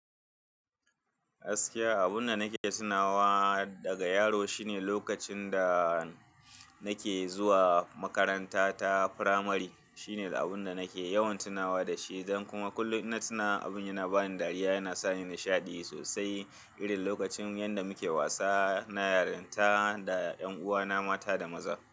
Gaskiya abun da nake tunawa daga yaro shine lokacin da nake zuwa makaranta ta firamari. Shine abun da nake yawan tunawa da shi. Dan kuma kullum ina tuna abin yana bani dariya, yana sa ni nashaɗi sosai. Irin lokacin yanda muke wasa na yarinta da ƴan uwana mata da maza.